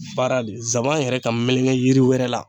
Baara de zaban yɛrɛ ka meleke yiri wɛrɛ la